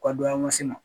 Ka dɔ man se ma